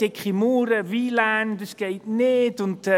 Dicke Mauern, WLAN, das geht nicht!», und: